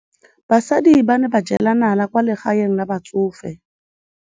Basadi ba ne ba jela nala kwaa legaeng la batsofe.